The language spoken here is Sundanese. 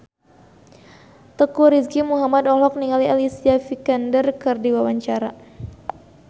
Teuku Rizky Muhammad olohok ningali Alicia Vikander keur diwawancara